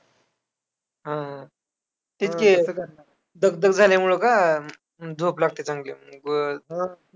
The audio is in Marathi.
येवढे अनर्थ ऐका अविद्येने केले या प्रकरणात शेतकऱ्यांचा असूड ग्रंथाबद्दल विस्ताराने विश्लेषण येते.